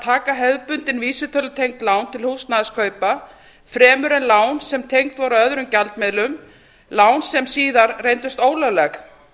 taka hefðbundin vísitölutengd lán til húsnæðiskaupa fremur en lán sem tengd voru öðrum gjaldmiðlum lán sem síðar reyndust ólögleg